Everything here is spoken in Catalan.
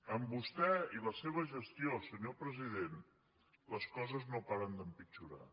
amb vostè i la seva gestió senyor president les coses no paren d’empitjorar